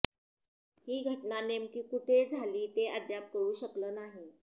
ही घटना नेमकी कुठे झाली ते अद्याप कळू शकलं नाही